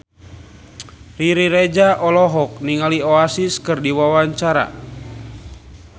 Riri Reza olohok ningali Oasis keur diwawancara